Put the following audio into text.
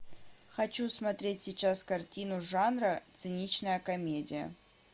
хочу смотреть сейчас картину жанра циничная комедия